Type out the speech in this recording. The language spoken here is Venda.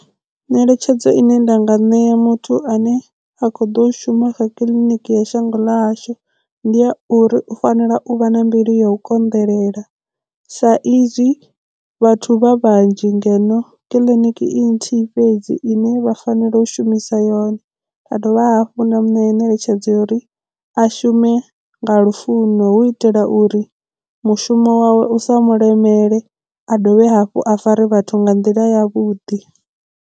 Ngeletshedzo ine nda nga i ṋea muthu ane a kho ḓo shuma kha kiḽiniki ya shango ḽahashu ndi a uri u fanela u vha na mbilu ya u konḓelela sa izwi vhathu vha vhanzhi ngeno kiḽiniki i nthihi fhedzi ine vha fanela u shumisa yone a dovha hafhu nda mu ṋea ngeletshedzo ya uri a shume nga lufuno hu itela uri mushumo wawe u sa mu lemele a dovhe hafhu a fare vhathu nga nḓila yavhuḓi.